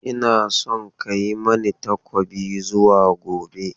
Ina son ka yi mani takobi zuwa gobe!